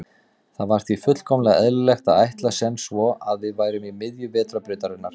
Það var því fullkomlega eðlilegt að ætla sem svo að við værum í miðju Vetrarbrautarinnar.